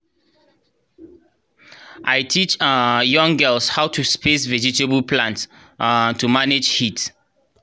i teach um young girls how to space vegetable plants um to manage heat